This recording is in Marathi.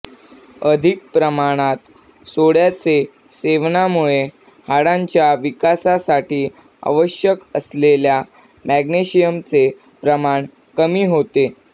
अधिक प्रमाणात सोड्याचे सेवनामुळे हाडांच्या विकासासाठी आवश्यक असलेल्या मॅग्नेशियमचे प्रमाण कमी होते